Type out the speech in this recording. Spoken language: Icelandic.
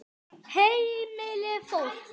Heimili fólks.